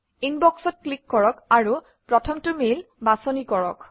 ইনবক্সত ক্লিক কৰক আৰু প্ৰথমটো মেইল বাছনি কৰক